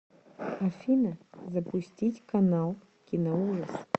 афина запустить канал киноужас